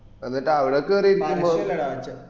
എന്നിട്ട് അവട കേറിയിരിക്കുമ്പ